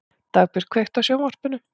Dagbjört, kveiktu á sjónvarpinu.